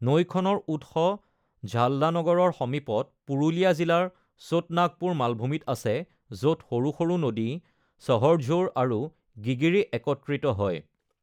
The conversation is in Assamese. নৈখনৰ উৎস ঝাল্ডা নগৰৰ সমীপত পুৰুলীয়া জিলাৰ চোট নাগপুৰ মালভূমিত আছে, য’ত সৰু সৰু নদী সহৰঝোৰ আৰু গিগিৰি একত্ৰিত হয়।